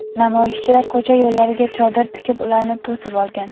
Namoyishchilar ko‘cha yo‘llariga chodir tikib ularni to‘sib olgan.